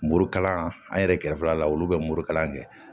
Morikalan an yɛrɛ kɛrɛfɛla la olu bɛ morikalan kɛ